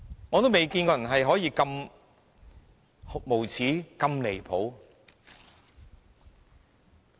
我從未見過有人可以這麼無耻和離譜。